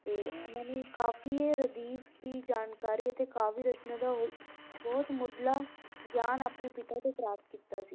ਤੇ ਇਹਨਾਂ ਨੇ ਕਾਫ਼ੀਏ, ਰਦੀਫ਼ ਦੀ ਜਾਣਕਾਰੀ ਅਤੇ ਕਾਵਿ ਦੀ ਰਚਨਾ ਦਾ ਉਹ ਬਹੁਤ ਮੁੱਢਲਾ ਗਿਆਨ ਆਪਣੇ ਪਿਤਾ ਤੋਂ ਪ੍ਰਾਪਤ ਕੀਤਾ ਸੀ।